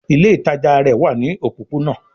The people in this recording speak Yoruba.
Ile itaja rẹ wa ní òpópónà